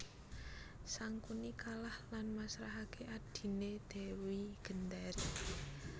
Sangkuni kalah lan masrahaké adhiné Dewi Gendari